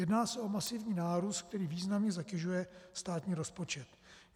Jedná se o masivní nárůst, který významně zatěžuje státní rozpočet.